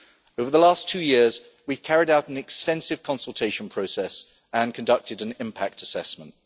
Over the last two years we have carried out an extensive consultation process and conducted an impact assessment.